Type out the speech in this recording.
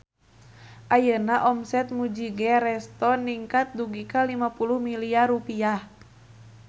Ayeuna omset Mujigae Resto ningkat dugi ka 50 miliar rupiah